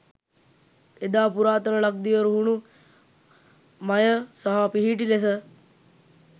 එදා පුරාතන ලක්දිව රුහුණු මය සහ පිහිටි ලෙස